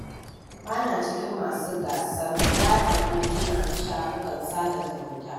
Ba na cikin masu gasar yaɗa hotuna a shafukan sada zumunta.